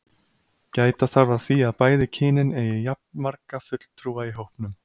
Gæta þarf að því að bæði kynin eigi jafnmarga fulltrúa í hópnum.